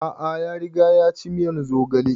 A'a ya riga ya ci miyan zogale